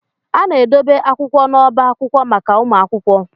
A na-edobe akwụkwọ n'ọba akwụkwọ maka ụmụ akwụkwọ.